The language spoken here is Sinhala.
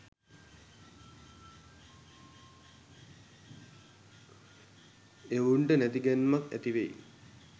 එවුන්ට තැති ගැන්මක් ඇති වෙයි.